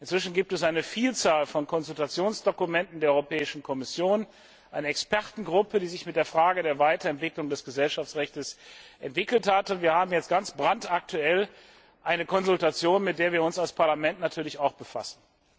Inzwischen gibt es eine Vielzahl von Konsultationsdokumenten der Europäischen Kommission, eine Expertengruppe, die sich mit der Frage der Weiterentwicklung des Gesellschaftsrechts auseinandergesetzt hat, und wir haben jetzt ganz brandaktuell eine Konsultation, mit der wir uns als Parlament natürlich auch befassen.